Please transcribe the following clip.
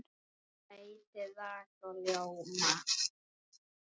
Veitir raka og ljóma.